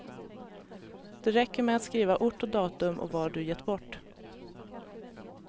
Det räcker med att skriva ort och datum och vad du gett bort.